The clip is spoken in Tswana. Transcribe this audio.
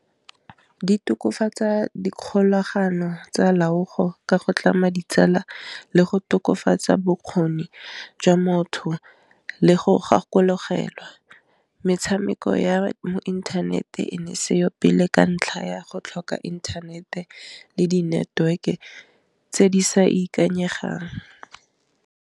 Di tokofatsa dikgolagano tsa loago ka go tlama ditsala le go tokafatsa bokgoni jwa motho le go gakologelwa metshameko ya mo interneteng e seyo pele ka ntlha ya go tlhoka inthanete le di network-e tse di sa ikanyegang.